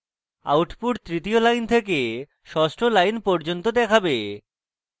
output তৃতীয় line থেকে ষষ্ঠ line পর্যন্ত দেখাবে